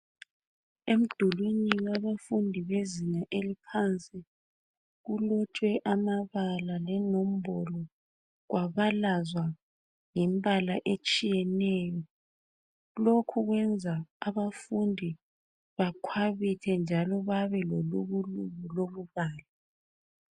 Umdulini yabafundi bezingeni eliphansi kulotshwe amabala lenombolo kwabalazwa ngembala etshiyeneyo lokhu kwenza abafundi bakhwabithe njalo belangazelele ukubala